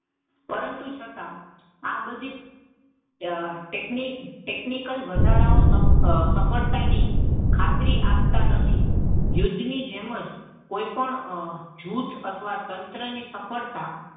પરંતુ છતાં આ બધી ટેકનીક ટેકનિકલ વધારાઓ સફળ થાય તેની ખાતરી આપતા નથી. યુદ્ધ ની જેમ જ કોઈ જૂથ અથવા તંત્રની સફળતા,